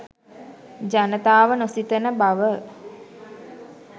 ජනතාව නොසිතන බව